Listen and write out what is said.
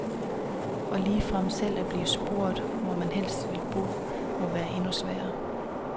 Og ligefrem selv at blive spurgt, hvor man helst vil bo, må være endnu sværere.